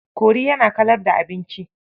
Kori yana kalar da abinci.